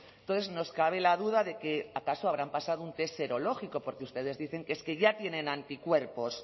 entonces nos cabe la duda de que acaso habrán pasado un test serológico porque ustedes dicen que es que ya tienen anticuerpos